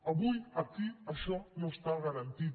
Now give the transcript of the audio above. avui aquí això no està garantit